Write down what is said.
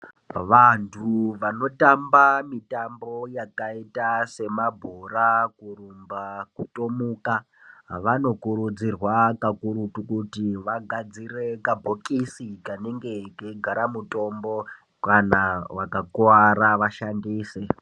Vantu vanotamba mitambo yakaita semabhora, kurumba, kutomuka vanokurudzirwa kakurutu kuti vagadzire kabhokisi kanenge keigara mutombo kana vakakuwara vashandise.